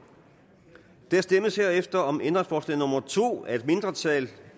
der stemmes herefter om ændringsforslag nummer to af et mindretal